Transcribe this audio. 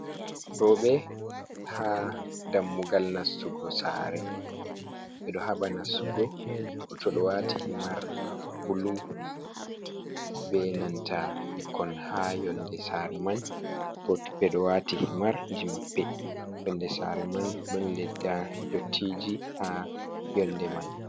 Roɓe haa dammugal nastugo saare, ɓe ɗo haɓa nastugo. Bo to ɓe waati himar bulu. Be nanta ɓikkon haa yonde saare man, ɓe ɗo waati himar ji maɓɓe. Yonde saare man ɗon ledda dottiiji haa yonde man.